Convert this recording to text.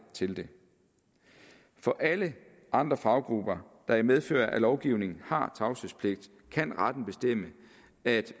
til det for alle andre faggrupper der i medfør af lovgivningen har tavshedspligt kan retten bestemme at